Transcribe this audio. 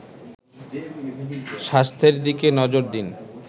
স্বাস্থ্যের দিকে নজর দিন